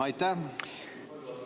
Aitäh!